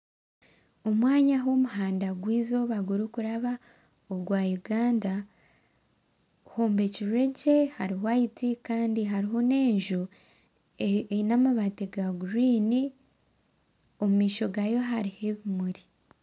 Omwanya ahu omuhanda gw'izooba gurikuraba ogwa Uganda hombekirwegye hari White Kandi haruho n'enju eine amabati ga green omumaisho gayo haruho ebimuri.